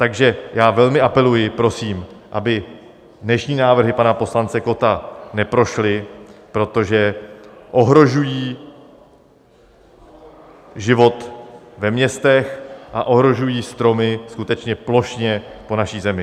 Takže já velmi apeluji, prosím, aby dnešní návrhy pana poslance Kotta neprošly, protože ohrožují život ve městech a ohrožují stromy skutečně plošně po naší zemi.